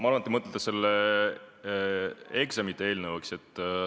Ma arvan, et te mõtlete seda eksameid puudutavat eelnõu, eks?